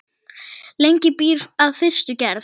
Lengi býr að fyrstu gerð.